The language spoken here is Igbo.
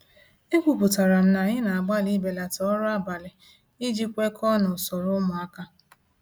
Ekwupụtara m na anyị na-agbalị ibelata ọrụ abalị iji kwekọọ na usoro ụmụaka.